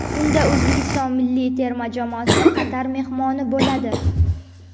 Unda O‘zbekiston milliy terma jamoasi Qatar mehmoni bo‘ladi.